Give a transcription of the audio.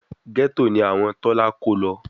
Gẹ́tò ni àwọn Tọ́lá kó lọ